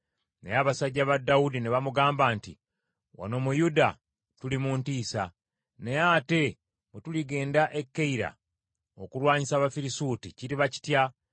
Naye abasajja ba Dawudi ne bamugamba nti, “Wano mu Yuda tuli mu ntiisa. Naye ate bwe tuligenda e Keyira okulwanyisa Abafirisuuti, kiriba kitya?”